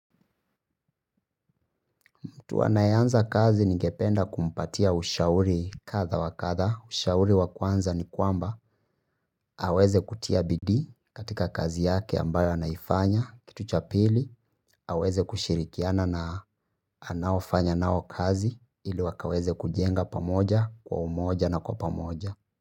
Mtu anaye anza kazi ningependa kumpatia ushauri kadha wa kadha, ushauri wakwanza ni kwamba aweze kutia bidi katika kazi yake ambayo anaifanya, kitu cha pili aweze kushirikiana na anaofanya nao kazi ili wakaweze kujenga pamoja, kwa umoja na kwa pamoja.